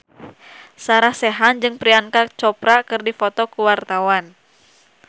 Sarah Sechan jeung Priyanka Chopra keur dipoto ku wartawan